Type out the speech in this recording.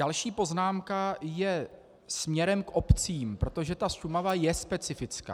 Další poznámka je směrem k obcím, protože ta Šumava je specifická.